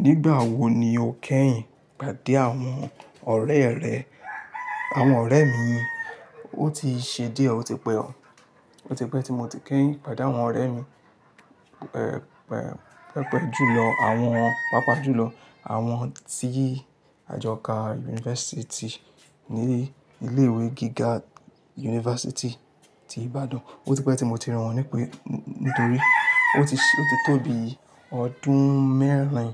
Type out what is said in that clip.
Nígbà wo ni o kẹ́yìn pàdé àwọn ọ̀rẹ́e rẹ? Àwọn ọ̀rẹ́ mi, ó ti ṣe díẹ̀ ó ti pẹ́ o, ó ti pẹ́ tí mo ti kẹ́yìn pàdé àwọn ọ̀rẹ́ mi, ẹ̀, pẹ̀, pẹpẹ julọ àwọn-- Paápaá julọ àwọn tí àjọ ka yunifásítì ní ilé ìwé gíga yunifásítì ti Ibadan. Ó ti pẹ́ tí mo ti rí wọ́n nípe nítorí ó ti, ó ti tó bi ọdún mẹ́rin